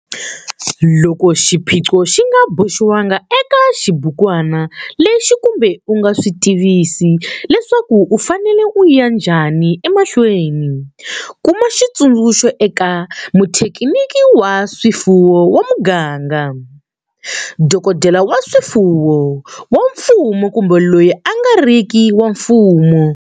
Loko xiphiqo xi nga boxiwangi eka xibukwana lexi kumbe u nga swi tivisi leswaku u fanele u ya nhjani emahlweni, kuma xitsundzuxo eka muthekiniki wa swifuwo wa muganga, dokodela wa swifuwo wa mfumo kumbe loyi a nga ri ki wa mfumo.